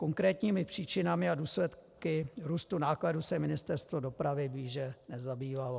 Konkrétními příčinami a důsledky růstu nákladů se Ministerstvo dopravy blíže nezabývalo.